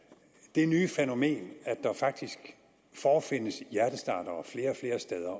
det nye fænomen at der faktisk forefindes hjertestartere flere og flere steder